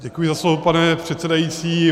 Děkuji za slovo, pane předsedající.